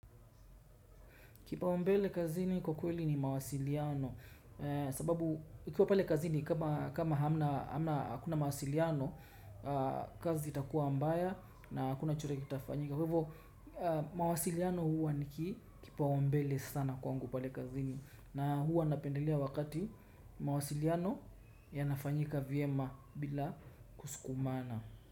Kipaombele kazini kwa kweli ni mawasiliano sababu ukiwa pale kazini kama hamna hakuna mawasiliano kazi itakuwa ambaya na hakuna chochote kitafanyika. Kwa hivyo mawasiliano huwa ni kipaombele sana kwangu pale kazini na huwa napendelea wakati mawasiliano yanafanyika vyema bila kusukumana.